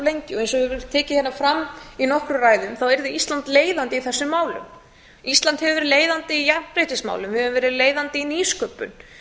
ég hef tekið hérna fram í nokkrum ræðum þá yrði íslandi leiðandi í þessum málum ísland hefur verið leiðandi í jafnréttismálum við höfum verið leiðandi í nýsköpun